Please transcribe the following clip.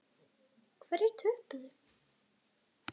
Hverjir töpuðu?